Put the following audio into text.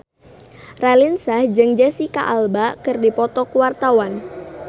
Raline Shah jeung Jesicca Alba keur dipoto ku wartawan